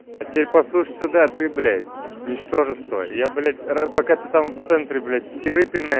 а теперь послушай сюда ты блять ничтожество я блять пока ты там в центре блять херы пинае